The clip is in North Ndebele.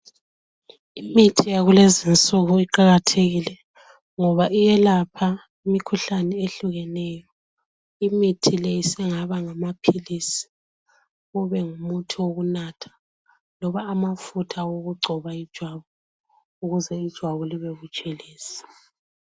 Imithi yakulezinsuku iqakathekile ngoba iyelapha imikhuhlane ehlukeneyo. Imithi le isingaba ngamaphilisi, kube ngumuthi wokunatha loba amafutha okugcoba ijwabu, ukuze ijwabu libe butshelezi.